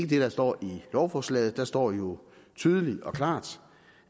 det der står i lovforslaget der står jo tydeligt og klart